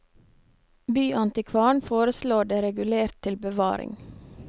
Byantikvaren foreslår det regulert til bevaring.